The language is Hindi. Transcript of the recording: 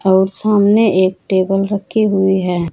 और सामने एक टेबल रखी हुई है।